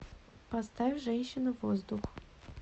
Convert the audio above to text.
поставь женщина воздух